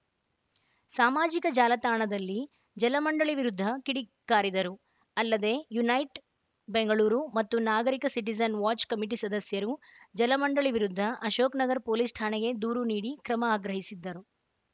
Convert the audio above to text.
ಸಾಮಾಜಿಕ ಜಾಲತಾಣದಲ್ಲಿ ಜಲಮಂಡಳಿ ವಿರುದ್ಧ ಕಿಡಿಕಾರಿದರು ಅಲ್ಲದೆ ಯುನೈಟ್‌ ಬೆಂಗಳೂರು ಮತ್ತು ನಾಗರಿಕ ಸಿಟಿಜನ್‌ ವಾಚ್‌ ಕಮಿಟಿ ಸದಸ್ಯರು ಜಲಮಂಡಳಿ ವಿರುದ್ಧ ಅಶೋಕನಗರ ಪೊಲೀಸ್‌ ಠಾಣೆಗೆ ದೂರು ನೀಡಿ ಕ್ರಮ ಆಗ್ರಹಿಸಿದ್ದರು